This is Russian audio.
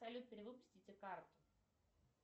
салют перевыпустите карту